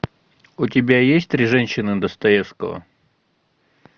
у тебя есть три женщины достоевского